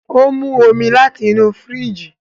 O mu omí láti inú firiji